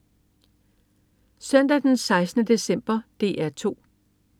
Søndag den 16. december - DR 2: